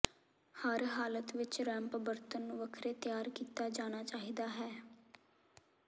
ਹਰ ਹਾਲਤ ਵਿਚ ਰੈਮਪ ਬਣਤਰ ਨੂੰ ਵੱਖਰੇ ਤਿਆਰ ਕੀਤਾ ਜਾਣਾ ਚਾਹੀਦਾ ਹੈ